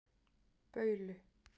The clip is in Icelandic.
Baulu